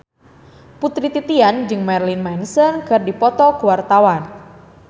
Putri Titian jeung Marilyn Manson keur dipoto ku wartawan